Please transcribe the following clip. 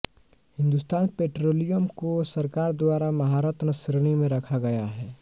Hindustan Petroleum को सरकार द्वारा महारत्न श्रेणी में रखा गया है